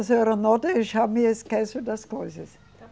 A senhora não deixar me esqueço das coisas. Tá.